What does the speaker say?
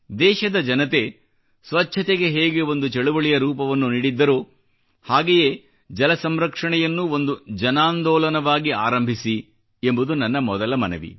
ದೇಶದ ಜನತೆ ಸ್ವಚ್ಛತೆಗೆ ಹೇಗೆ ಒಂದು ಚಳುವಳಿಯ ರೂಪವನ್ನು ನೀಡಿದ್ದರೋ ಹಾಗೆಯೇ ಜಲ ಸಂರಕ್ಷಣೆಯನ್ನೂ ಒಂದು ಜನಾಂದೋಲನವಾಗಿ ಆರಂಭಿಸಿ ಎಂಬುದು ನನ್ನ ಮೊದಲ ಮನವಿ